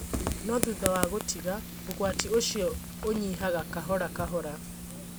No thutha wa gũtiga, ũgwati ũcio ũnyihaga kahora kahora.